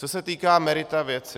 Co se týká merita věci.